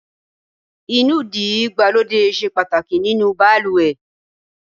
Inúdí ìgbàlódé ṣe pàtàkì nínú baluwe